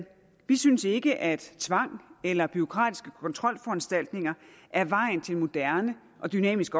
vi synes ikke at tvang eller bureaukratiske kontrolforanstaltninger er vejen til en moderne og dynamisk